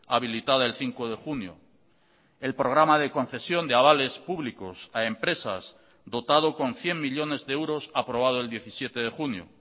habilitada el cinco de junio el programa de concesión de avales públicos a empresas dotado con cien millónes de euros aprobado el diecisiete de junio